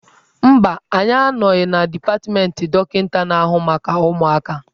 Mba, anyị anọghị na dipatmentị dọkịka na-ahụ maka ụmụaka.